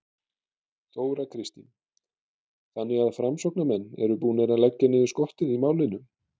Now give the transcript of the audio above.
Þóra Kristín: Þannig að framsóknarmenn eru búnir að leggja niður skottið í málinu?